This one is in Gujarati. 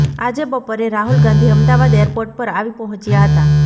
આજે બપોરે રાહુલ ગાંધી અમદાવાદ એરપોર્ટ પર આવી પહોંચ્યા હતા